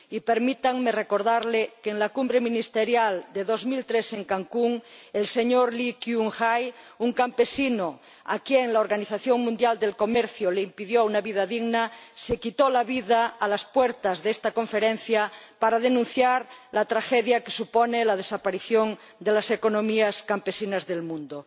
Y permítanme recordarles que en la Conferencia Ministerial de 2003 en Cancún, el señor Lee Kyung Hae, un campesino a quien la Organización Mundial del Comercio impidió una vida digna, se quitó la vida a las puertas de esta Conferencia para denunciar la tragedia que supone la desaparición de las economías campesinas del mundo.